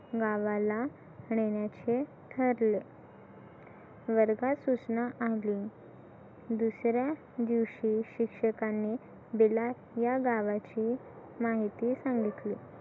नावाला देण्याचे ठरले वर्गात सूचना आली दुसऱ्या दिवशी शिक्षकांनी बिलास या गावाची माहिती सांगितली.